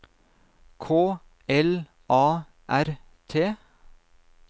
K L A R T